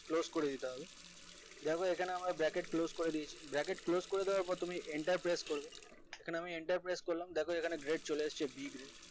close করে দিতে হবে দেখো আমরা এখানে bracket close করে দিয়েছি bracket close করে দেওয়ার পর তুমি enter press করবে এখানে আমি enter press করলাম দেখো এখানে grade চলে এসেছে b grade